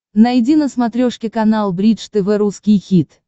найди на смотрешке канал бридж тв русский хит